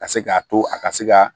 Ka se k'a to a ka se ka